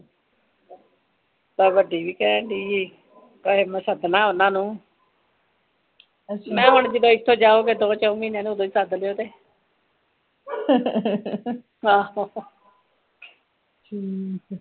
ਵੱਡੀ ਵੀ ਕਹਿਣ ਦੀ ਮੈ ਸਦਨਾਂ ਉਹਨਾਂ ਨੂੰ ਮੈ ਹੁਣ ਜਦੋ ਇਥੋਂ ਜਾਓਗੇ ਦੋ ਚੋ ਮਹੀਨਿਆਂ ਨੂੰ ਉਦੋਂ ਹੀ ਸਦਲੀਓ ਤੇ ਆਹੋ